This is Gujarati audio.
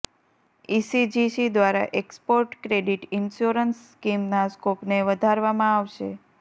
ઈસીજીસી દ્વારા એક્સપોર્ટ ક્રેડિટ ઈન્યોરન્સ સ્કીમના સ્કોપને વધારવામાં આવશે